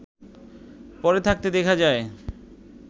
পড়ে থাকতে দেখা যায়